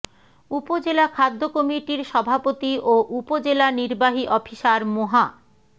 উপজেলা খাদ্য কমিটির সভাপতি ও উপজেলা নির্বাহী অফিসার মোহা